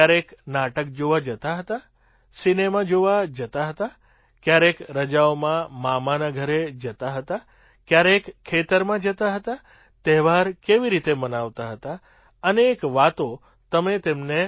ક્યારેય નાટક જોવા જતાં હતાં સિનેમા જોવા જતાં હતાં ક્યારેક રજાઓમાં મામાના ઘરે જતાં હતાં ક્યારેક ખેતરમાં જતાં હતાં તહેવાર કેવી રીતે મનાવતા હતા અનેક વાતો તમે તેમને